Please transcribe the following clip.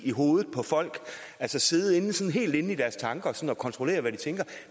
i hovedet på folk altså sidde helt inde i deres tanker og kontrollere hvad de tænker